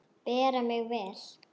Bera mig vel?